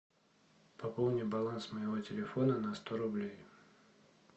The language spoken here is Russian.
пополни баланс моего телефона на сто рублей